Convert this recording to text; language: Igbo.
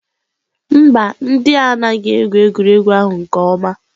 Mba, ndị anaghị egwu egwuregwu ahụ nke ọma.